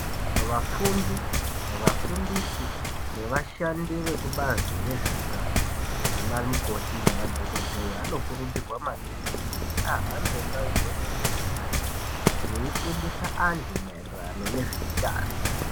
Vafundi vafundisi ne vashandi veku bazi rezve utano ana mikoti ne madhokodheya ano kurudzirwa maningi kuti ahambe ndau dzeshe miganga yeshe vei fundisa antu maererano nezve utano.